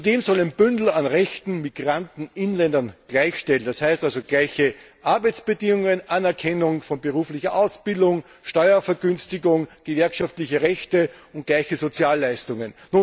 Zudem soll ein Bündel an Rechten Migranten Inländern gleichstellen, das heißt also gleiche Arbeitsbedingungen, Anerkennung von beruflicher Ausbildung, Steuervergünstigung, gewerkschaftliche Rechte und gleiche Sozialleistungen.